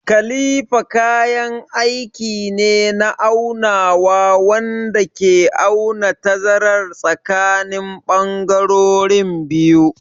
Kalifa kayan aiki ne na aunawa wanda ke auna tazarar tsakanin bangarorin biyu.